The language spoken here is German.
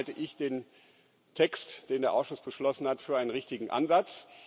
Deswegen halte ich den Text, den der Ausschuss beschlossen hat, für einen richtigen Ansatz.